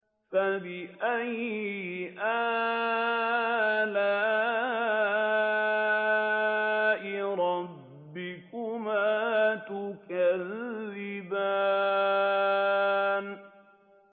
فَبِأَيِّ آلَاءِ رَبِّكُمَا تُكَذِّبَانِ